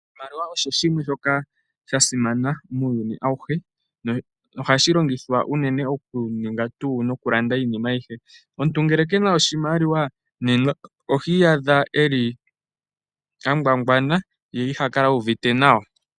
Oshimaliwa osho shimwe shoka sha simana muuyuni awuhe nohashi longithwa unene mokuninga tuu noku landa iinima ayihe. Omuntu ngele kena oshimaliwa nena ohi iyadha eli angwangwana ye iha kala uvite nawa.